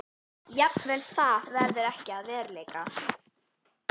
Jafnvel það verður ekki að veruleika.